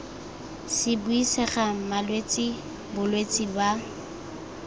se buisega malwetse bolwetse ba